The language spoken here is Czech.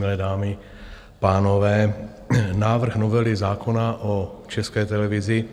Milé dámy, pánové, návrh novely zákona o České televizi